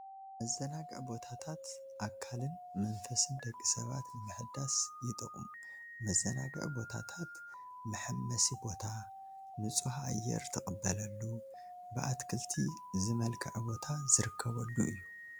መዘናግዒ ቦታታ ኣካልን መንፈስን ደቂ ሰባ ንምሕዳስ ይጠቕሙ፡፡ መዘናግዒ ቦታታት መሐመሲ ቦታ፣ ንፁህ ኣየር ትቕበሉ ብኣትክልቲ ዝመልክዓ ቦታ ዝርከበሉ እዩ፡፡